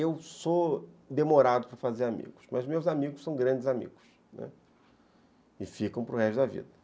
Eu sou demorado para fazer amigos, mas meus amigos são grandes amigos e ficam para o resto da vida.